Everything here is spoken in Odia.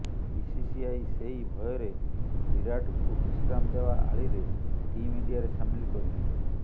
ବିସିସିଆଇ ସେଇ ଭୟରେ ବିରାଟ୍ଙ୍କୁ ବିଶ୍ରାମ ଦେବା ଆଳିରେ ଟିମ୍ ଇଣ୍ଡିଆରେ ସାମିଲ କରିନାହିଁ